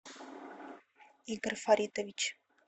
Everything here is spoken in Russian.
игорь фаритович